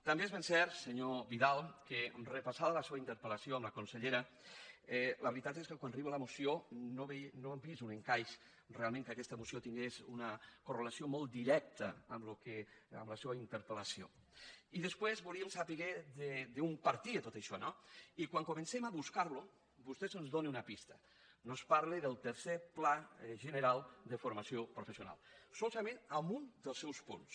també és ben cert senyor vidal que repassada la seua interpel·lació amb la consellera la veritat és que quan arriba la moció no hem vist un encaix realment que aquesta moció tingués una correlació molt directa amb la seua interpel·i després volíem saber d’on partia tot això no i quan comencem a buscar·ho vostè ens dóna una pista ens parla del tercer pla general de formació professional solament en un dels seus punts